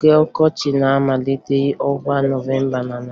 Oge ọkọchị na-amalitekarị n'ọnwa Nọvemba na Naịjirịa